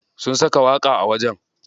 Sun saka waƙa a wajen.